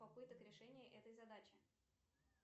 попыток решения этой задачи